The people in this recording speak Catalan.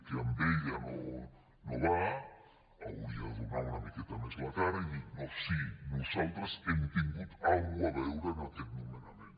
que amb ella no va hauria de donar una miqueta més la cara i dir sí nosaltres hem tingut alguna cosa a veure en aquest nomenament